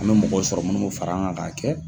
An bɛ mɔgɔ sɔrɔ munnu bɛ fara an kan k'a kɛ.